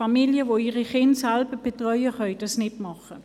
Familien, die ihre Kinder selber betreuen, können dies nicht machen.